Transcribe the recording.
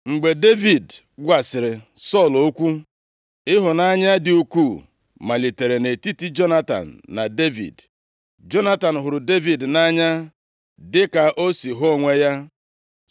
Mgbe Devid gwasịrị Sọl okwu, ịhụnanya dị ukwuu malitere nʼetiti Jonatan na Devid. Jonatan hụrụ Devid nʼanya dịka o si hụ onwe ya.